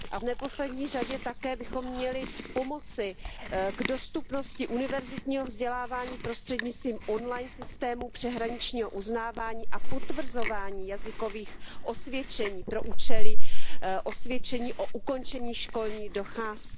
V neposlední řadě také bychom měli pomoci k dostupnosti univerzitního vzdělávání prostřednictvím on line systému přeshraničního uznávání a potvrzování jazykových osvědčení pro účely osvědčení o ukončení školní docházky.